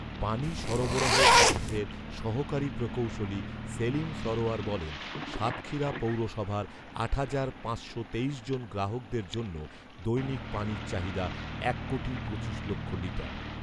পানি সরবরাহ অফিসের সহকারী প্রকৌশলী সেলিম সরোয়ার বলেন, সাতক্ষীরা পৌরসভার আট হাজার পাঁচশ তেইশ জন গ্রাহকদের জন্য দৈনিক পানির চাহিদা এক কোটি পঁচিশ লক্ষ লিটার